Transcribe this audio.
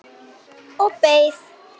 Og beið.